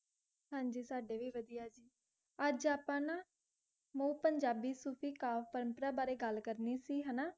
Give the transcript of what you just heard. ਹਾਂਜੀ ਸਾਡੇ ਵੀ ਵਧੀਆ ਜੀ ਅੱਜ ਆਪਾਂ ਨਾ, ਪੰਜਾਬੀ ਸੂਫ਼ੀ ਬਾਰੇ ਗੱਲ ਕਰਨੀ ਸੀ, ਹਨਾ